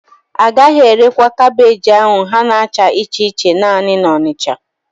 Agaghị erekwa kaabéji ahụ ha na-acha iche iche naanị na Onitsha